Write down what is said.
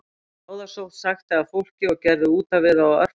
Bráðasótt sækti að fólki og gerði útaf við það á örfáum dögum